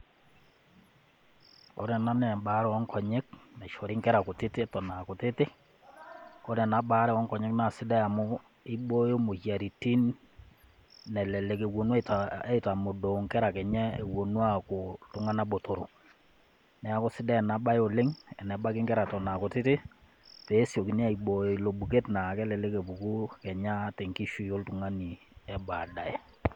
Ore ena naa embaare o onkonyek, naishori inkera kutiti eton a kutiti, kore ena baare o nkonyek naa sidai amu eibooyo imoyiaritin nelelek ewuonu ataa, aitamodoo inkera kenya ewuonu aaku iltung'ana botoro. Neaku sidai ena bae oleng tenebaki inkera eton a kutiti peesiokini aibooyo ilo buket naa kelelek epuku kenya tenkishui oltung'ani e baadaye.